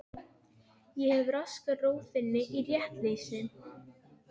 Þetta er opinber viðurkenning og hefur sterk áhrif á mannsöfnuðinn.